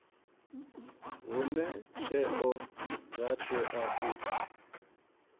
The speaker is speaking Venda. hune tsheo dza tea u